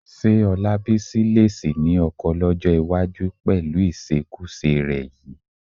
Ṣé Ọlábísí lè sì ní ọkọ lọ́jọ́ iwájú pẹ̀lú ìṣekúṣe rẹ yìí?